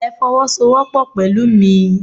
Ẹ fowosowopo pẹ̀lú mi!